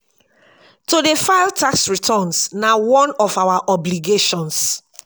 to dey file tax returns na one of our obligations.